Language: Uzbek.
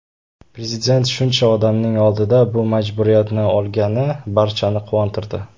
Prezident shuncha odamning oldida bu majburiyatni olgani barchani quvontirdi.